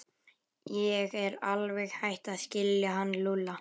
Ég er alveg hætt að skilja hann Lúlla.